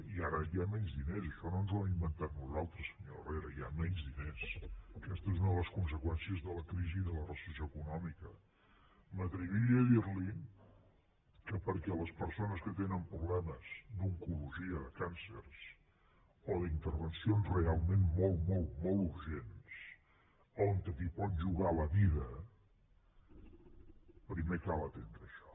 i ara hi ha menys diners això no ens ho hem inventat nosaltres senyor herrera hi ha menys diners aquesta és una de les conseqüències de la crisi de la recessió econòmica m’atreviria a dir li que perquè les persones que tenen problemes d’oncologia càncers o d’intervencions realment molt molt molt urgents on t’hi pots jugar la vida primer cal atendre això